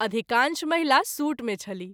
अधिकांश महिला सूट मे छलीह।